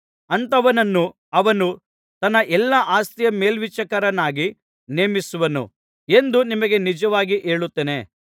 ಅಂಥವನನ್ನು ಅವನು ತನ್ನ ಎಲ್ಲಾ ಆಸ್ತಿಯ ಮೇಲ್ವಿಚಾರಕನನ್ನಾಗಿ ನೇಮಿಸುವನು ಎಂದು ನಿಮಗೆ ನಿಜವಾಗಿ ಹೇಳುತ್ತೇನೆ